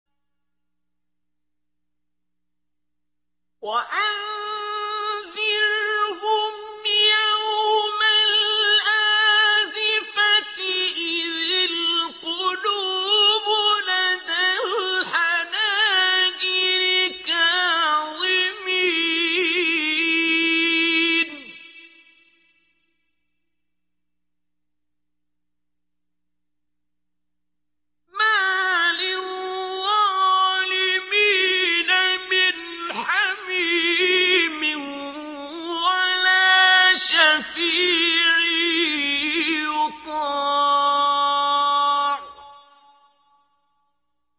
وَأَنذِرْهُمْ يَوْمَ الْآزِفَةِ إِذِ الْقُلُوبُ لَدَى الْحَنَاجِرِ كَاظِمِينَ ۚ مَا لِلظَّالِمِينَ مِنْ حَمِيمٍ وَلَا شَفِيعٍ يُطَاعُ